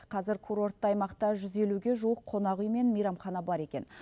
қазір курортты аймақта жүз елуге жуық қонақүй мен мейрамхана бар екен